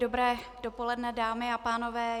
Dobré dopoledne, dámy a pánové.